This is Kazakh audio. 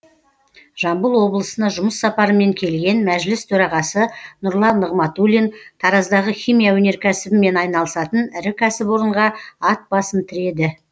жамбыл облысына жұмыс сапарымен келген мәжіліс төрағасы нұрлан нығматулин тараздағы химия өнеркәсібімен айналысатын ірі кәсіпорынға ат басын тіреді